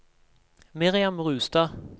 Miriam Rustad